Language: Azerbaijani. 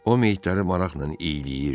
O meyidləri maraqla iyləyirdi.